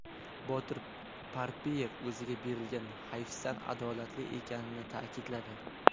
Botir Parpiyev o‘ziga berilgan hayfsan adolatli ekanini ta’kidladi.